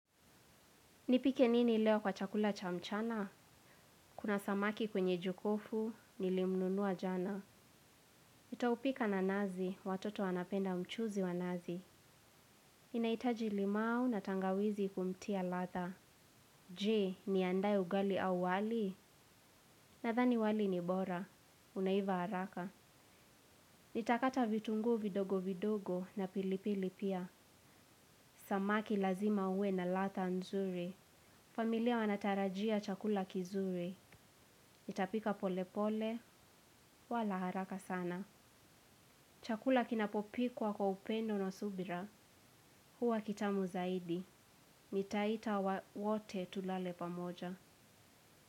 Nipike nini leo kwa chakula cha mchana? Kuna samaki kwenye jokofu, nilimnunua jana. Nitaupika na nazi, watoto wanapenda mchuuzi wa nazi. Ninahitaji limau na tangawizi kumtia ladha. Je, niandae ugali au wali? Nadhani wali ni bora. Unaiva haraka. Nitakata vitunguu vidogo vidogo na pilipili pia. Samaki lazima uwe na ladha nzuri. Familia wanatarajia chakula kizuri. Nitapika pole pole, wala haraka sana. Chakula kinapopikwa kwa upendo na subira, huwa kitamu zaidi. Nitaita wote tulale pamoja.